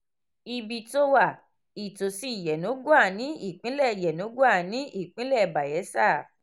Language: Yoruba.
ibi tó wà: ìtòsí yenagoa ní ìpínlẹ̀ yenagoa ní ìpínlẹ̀ bayelsa